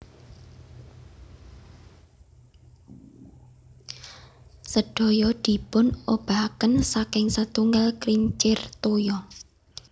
Sedaya dipunobahaken saking setunggal kincir toya